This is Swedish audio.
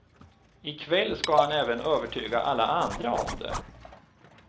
I kväll ska han även övertyga alla andra om det.